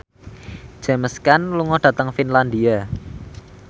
James Caan lunga dhateng Finlandia